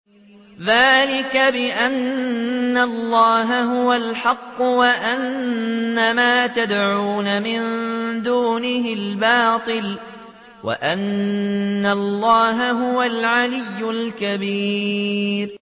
ذَٰلِكَ بِأَنَّ اللَّهَ هُوَ الْحَقُّ وَأَنَّ مَا يَدْعُونَ مِن دُونِهِ الْبَاطِلُ وَأَنَّ اللَّهَ هُوَ الْعَلِيُّ الْكَبِيرُ